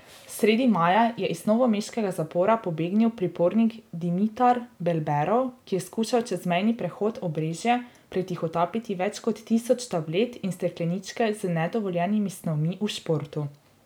Sredi maja je iz novomeškega zapora pobegnil pripornik Dimitar Belberov, ki je skušal čez mejni prehod Obrežje pretihotapiti več kot tisoč tablet in stekleničke z nedovoljenimi snovmi v športu.